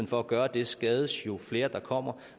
for at gøre det skades jo flere der kommer